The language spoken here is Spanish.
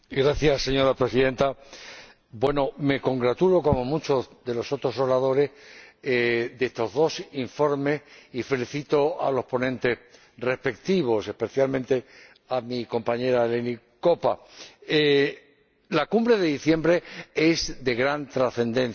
Señora Presidenta, me congratulo, como muchos de los otros oradores, de estos dos informes y felicito a los ponentes respectivos, especialmente a mi compañera Eleni Koppa. La Cumbre de diciembre es de gran trascendencia.